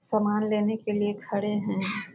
सामान लेने के लिए खड़े है।